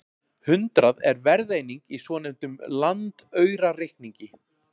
hundrað er verðeining í svonefndum landaurareikningi